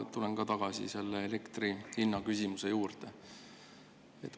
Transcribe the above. Ma tulen tagasi elektri hinna küsimuse juurde.